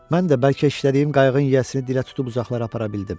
Mən də bəlkə işlədiyim qayığın yiyəsini dilə tutub uzaqlara apara bildim.